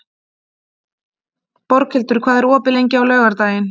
Borghildur, hvað er opið lengi á laugardaginn?